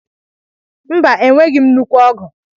Mba, enweghị m nnukwu ọgụ.